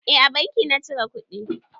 Eh a banki na cire kuɗi.